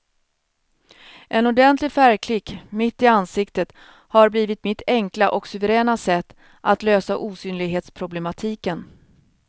En ordentlig färgklick mitt i ansiktet har blivit mitt enkla och suveräna sätt att lösa osynlighetsproblematiken.